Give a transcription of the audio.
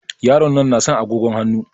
Yaro na sa agogon hannu.